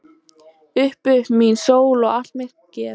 Upp upp mín sól og allt mitt geð.